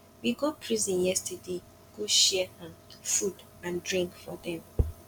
we go prison yesterday go share um food and drink for dem